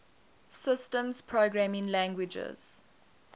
systems programming languages